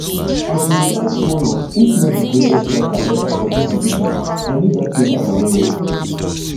i bin dey fight one of if not di greatest striker eva for dis division i need dat takedown wellwell